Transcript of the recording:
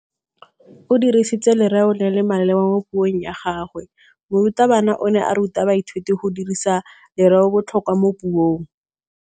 O dirisitse lerêo le le maleba mo puông ya gagwe. Morutabana o ne a ruta baithuti go dirisa lêrêôbotlhôkwa mo puong.